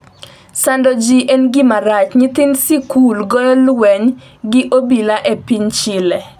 sando ji en gima rach, Nyithind sikul goyo lweny gi obila e piny Chile